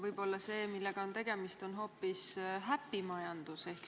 Võib-olla see, millega on tegemist, on hoopis happy-majandus.